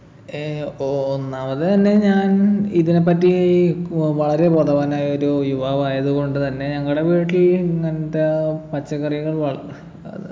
ഏർ ഒ ഒന്നാമത് തന്നെ ഞാൻ ഇതിനെപ്പറ്റി ഉം വളരെ ബോധവാനായ ഒരു യുവാവ് ആയതുകൊണ്ട് തന്നെ ഞങ്ങടെ വീട്ടിൽ ഇങ്ങനത്തെ പച്ചക്കറികൾ വൾ ഏർ